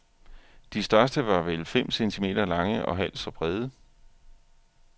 De største var vel fem centimeter lange og halvt så brede.